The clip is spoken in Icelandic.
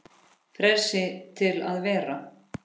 Frelsi til að vera.